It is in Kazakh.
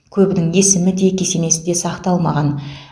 көбінің есімі де кесенесі де сақталмаған